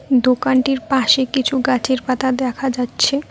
দোকানটির পাশে কিছু গাছের পাতা দেখা যাচ্ছে।